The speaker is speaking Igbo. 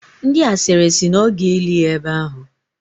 Ndi asịrị si na ọ ga-eli ya ebe ahụ.